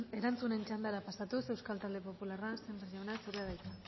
erantzunen txandara pasatuz euskal talde popularra sémper jauna zurea da hitza